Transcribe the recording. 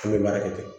An bɛ baara kɛ ten